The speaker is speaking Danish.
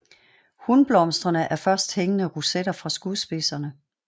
Hunblomsterne er først hængende rosetter fra skudspidserne